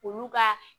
Olu ka